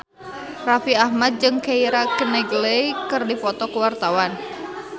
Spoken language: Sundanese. Raffi Ahmad jeung Keira Knightley keur dipoto ku wartawan